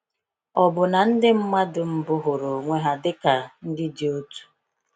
Ọ̀ bụ na ndị mmadụ mbụ hụrụ onwe ha dịka ndị dị otu?